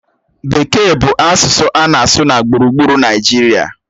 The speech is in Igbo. Bekee bụ asụsụ a na-asụ na gburugburu Naịjirịa.